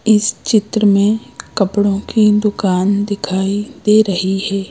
इस चित्र में कपड़ों की दुकान दिखाई दे रही है।